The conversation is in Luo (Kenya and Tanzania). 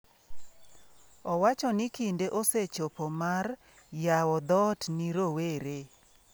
Owacho ni kinde osechopo mar "yawo dhoot ne rowere".